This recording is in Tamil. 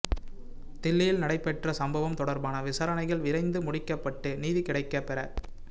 தில்லியில் நடைபெற்ற சம்பவம் தொடர்பான விசாரணைகள் விரைந்து முடிக்கப்பட்டு நீதி கிடைக்கப் பெற